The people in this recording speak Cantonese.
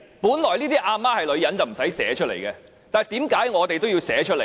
本來這些"阿媽是女人"的條文不用寫出來，但為何我們也要寫出來？